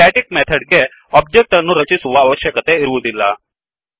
static method ಗೆ object ಅನ್ನು ರಚಿಸುವ ಅವಶ್ಯಕತೆ ಇರುವುದಿಲ್ಲ